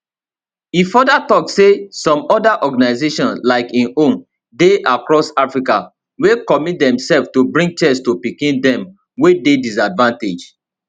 e further tok say some oda organisations like im own dey across africa wey commit demselves to bring chess to pikin dem wey dey disadvantaged